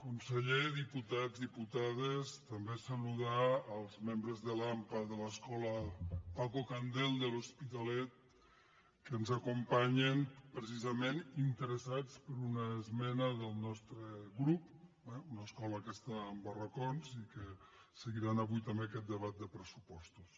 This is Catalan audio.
conseller diputats diputades també saludar els membres de l’ampa de l’escola paco candel de l’hospitalet que ens acompanyen precisament interessats per una esmena del nostre grup eh una escola que està en barracons i que seguiran avui també aquest debat de pressupostos